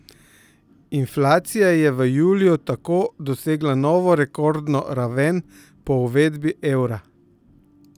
Inflacija je v juliju tako dosegla novo rekordno raven po uvedbi evra.